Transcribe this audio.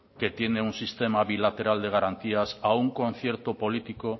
que tienen un sistema bilateral de garantías a un concierto político